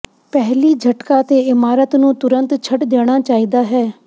ਪਹਿਲੀ ਝਟਕਾ ਤੇ ਇਮਾਰਤ ਨੂੰ ਤੁਰੰਤ ਛੱਡ ਦੇਣਾ ਚਾਹੀਦਾ ਹੈ